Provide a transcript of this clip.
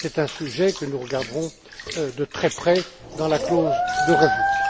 règles. C'est un sujet que nous regarderons de très près dans la clause de réexamen.